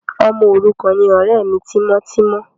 Ọmọ òrukàn ni ọ̀rẹ́ mi tímọ́tímọ́.